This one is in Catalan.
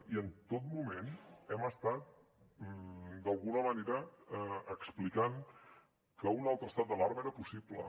i en tot moment hem estat d’alguna manera explicant que un altre estat d’alarma era possible